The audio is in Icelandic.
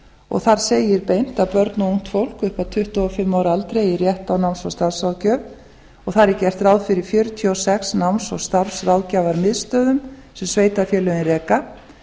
og þar segir beint að börn og ungt fólk upp að tuttugu og fimm ára aldri eigi rétt á náms og starfsráðgjöf og þar er gert ráð fyrir fjörutíu og sex náms og starfsráðgjafarmiðstöðvum sem sveitarfélögin reka